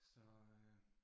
Så øh